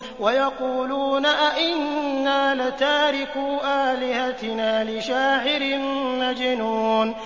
وَيَقُولُونَ أَئِنَّا لَتَارِكُو آلِهَتِنَا لِشَاعِرٍ مَّجْنُونٍ